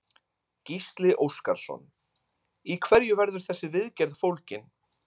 Gísli Óskarsson: Í hverju verður þessi viðgerð fólgin?